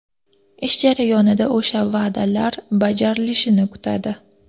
Ish jarayonida o‘sha va’dalar bajarilishini kutadi.